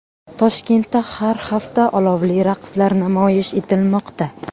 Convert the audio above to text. Toshkentda har hafta olovli raqslar namoyish etilmoqda .